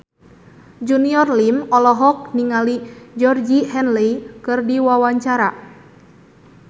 Junior Liem olohok ningali Georgie Henley keur diwawancara